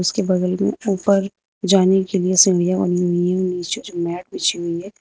इसके बगल में ऊपर जाने के लिए सीढ़ियां बनी हुई है और नीचे जो मैट बिछी हुई है।